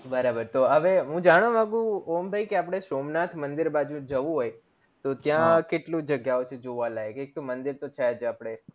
બરોબર તો હવે હું જાણવા માંગું ઓમ ભય કે સોમનાથ મંદિર બાજુ જવું હોય તો ત્યાં કેટલું જગ્યા વચે જે જોવા લાયક એક તો મંદિર તો છેજ અપડે